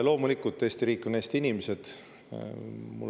Loomulikult Eesti riik on Eesti inimesed.